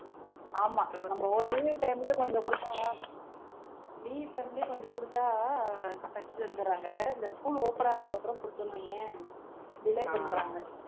ஆமா நம்ம leave time லயே கொஞ்சம் கொடுத்தா leave time லயே கொஞ்சம் கொடுத்தா ஆஹ் தைச்சு தந்துடுறாங்க இந்த school open ஆனதுக்கு அப்புறம் கொடுத்தோம்ன்னு வையேன் delay பண்றாங்க